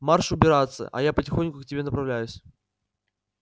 марш убираться а я потихоньку к тебе направляюсь